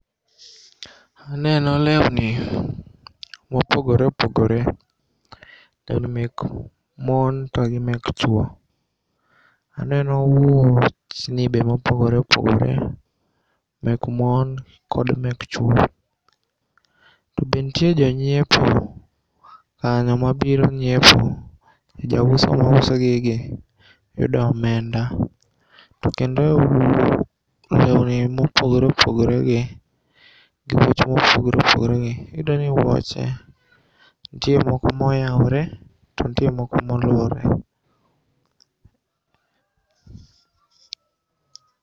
Aneno leuni mopogore opogore, mek mon to gi mek chuo. Aneno wuochni be mopogore opogore mek mon kod mek chuo. To be ntie jonyiepo kanyo mabiro nyiepo, jauso mauso gigi yudo omenda. To kendo leuni mopogore opogoregi gi wuoch mopogore opogore .Iyudoni wuoche ntie moko moyaore, to ntie moko molorre.